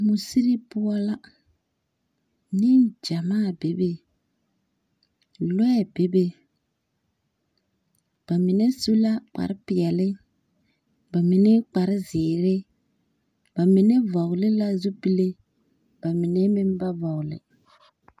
Musiri poͻ la, neŋgyamaa bebe, lͻԑ bebe. Ba mine su la kpare peԑle, ba mine kpare zeere, ba mine vͻgele la zupile ba mine meŋ ba vͻgele.